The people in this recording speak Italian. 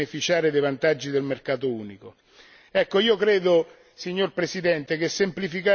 che è la chiave per mettere professionisti nella condizione di beneficiare dei vantaggi del mercato unico.